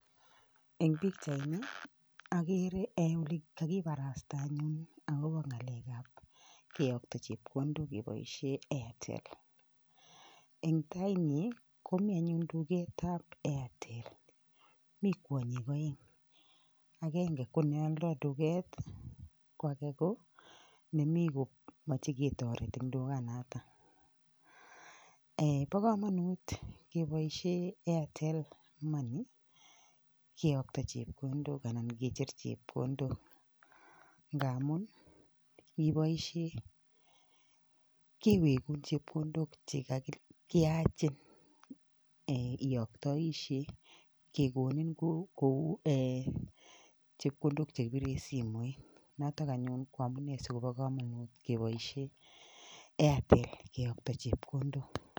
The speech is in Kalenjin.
Eng pichaini agere ale kakiparasta anyun akobo ng'alekap keyokta chepkondok keboishe Airtel. Eng taiyi komi anyun duketab Airtel, mi kwonyik oeng, agenge ko neoldoi duket ko age ko nemi komachei ketoret eng dukanatak. Bo komanut keboishe airtel money keyokta chepkondok anan kecher chepkondok, ndamun ngiboishe kiwegun chepkondok chekakinyachin iyoktoishe, kekonin kou chepkondok chekipire simoit. Notok anyun amune sikobo komanut keboishe Airtel keyokto chepkondok.